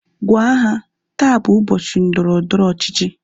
Gwaa ha! Taa bụ ụbọchị ndọrọndọrọ ọchịchị